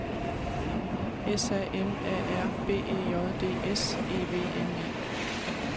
S A M A R B E J D S E V N E